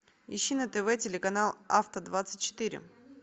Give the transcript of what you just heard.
ищи на тв телеканал авто двадцать четыре